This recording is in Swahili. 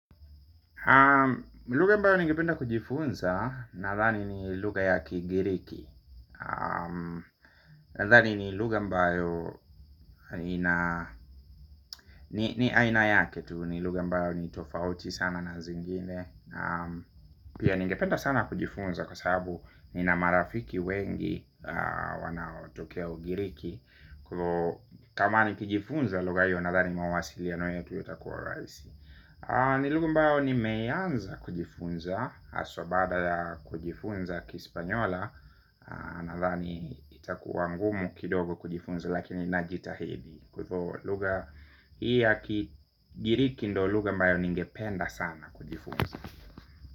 Lugha ambayo ningependa kujifunza nadhani ni lugha ya kigiriki. Nathani ni luga mbao ni aina yake tu. Nilugha ambayo ni tofauti sana na zingine. Pia ningependa sana kujifunza kwa sababu ni na marafiki wengi wanaotokeo ugiriki kwa hivo kama nikijifunza lugha hiyo nadhani mawasilino yetu yatakuwa rahisi. Nilugha ambayo ni meianza kujifunza haswa baada ya kujifunza kispanyola. Na thani itakuangumu kidogo kujifunza. Lakini najita hidi. Kwa ivoo lugha hii ya kijiriki ndoluga mbayo ningependa sana kujifunza.